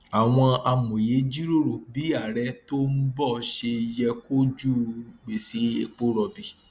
àwọn amòye jíròrò bí ààrẹ tó ń bọ ṣe yẹ kojú gbèsè epo rọbì